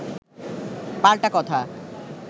পাল্টা কথা